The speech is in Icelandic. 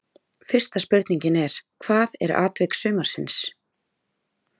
Fyrsta spurningin er: Hvað er atvik sumarsins?